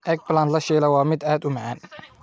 Eggplant la shiilay waa mid aad u macaan.